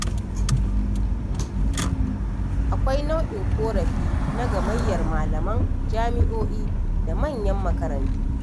Akwai nau'in ƙorafi na gamayyar malaman jami'o'i da manyan makarantu.